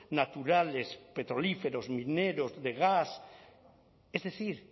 naturales petrolíferos mineros de gas es decir